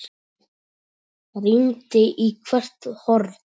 Rýndi í hvert horn.